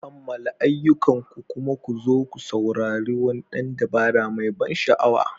Kammala ayyukanku kuma ku zo ku saurari wani ɗan dabara mai ban sha'awa.